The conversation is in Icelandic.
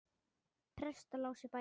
Prestar lásu bækur.